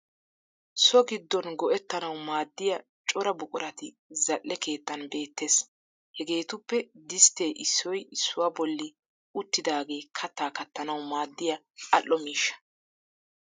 So giddon go'ettanawu maaddiya cora buqurati zal'e keettan beettes. Hegeetuppe disttee issoy issuwaa bolli uttidagee kattaa kattanawu maaddiya al'o miishsha.